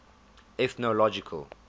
ethnological